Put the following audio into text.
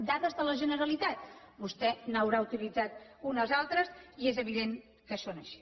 dades de la generalitat vostè n’haurà utilitzat unes altres i és evident que són així